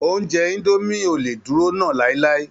Oúnjẹ indo mie ò lé dúró nà láíláí